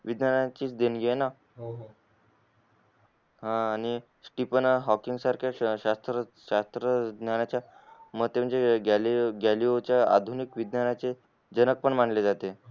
विद्न्यायनी ची च देणगी ये ना हा ती पण हॉकीन सारखे शास्त्र शास्त्र विज्ञाच्या म त्याच्या गलियों च्या आधुनिक विज्ञानच्या जनक पण मानले जाते